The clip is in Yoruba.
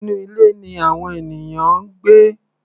Inú ilé ni àwọn ènìyàn ń gbé.